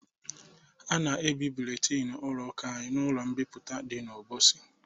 A na-ebi buletin ụlọ ụka anyị ụlọ mbipụta dị n'Obosi